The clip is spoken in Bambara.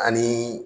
Ani